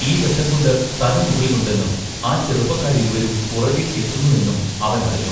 ഈ വെട്ടംകൊണ്ട് തലമുകളിലുണ്ടെന്നും ആ ചെറുപ്പക്കാരിരുവരും പുറകെ എത്തുന്നു എന്നും അവൻ അറിഞ്ഞു.